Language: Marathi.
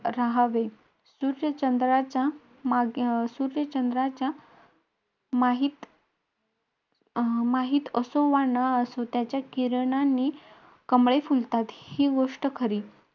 तेव्हा आम्ही उतरल्यावर teacher बोलल्या सगळ्यांनी एक सोबत line मध्ये उतरा व मंदिरात एक सोबत लाईनीने जा.